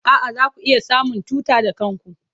A'a, zaku iya samun tuta da kanku.